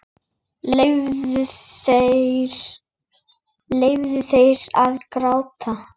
Leyfðu þér að gráta.